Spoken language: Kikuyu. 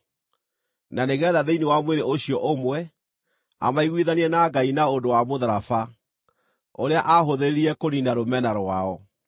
na nĩgeetha thĩinĩ wa mwĩrĩ ũcio ũmwe, amaiguithanie na Ngai na ũndũ wa mũtharaba, ũrĩa aahũthĩrire kũniina rũmena rwao.